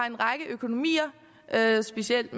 en række økonomier med specielt